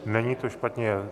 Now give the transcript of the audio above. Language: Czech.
Není to špatně.